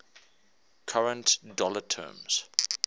current dollar terms